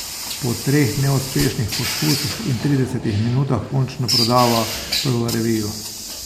Po treh neuspešnih poskusih in tridesetih minutah končno prodava prvo revijo.